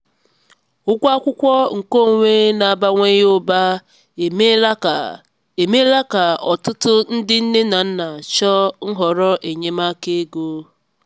ụgwọ akwụkwọ nkeonwe n'abawanye ụba emeela ka emeela ka ọtụtụ ndị nne na nna chọọ nhọrọ enyemaka ego.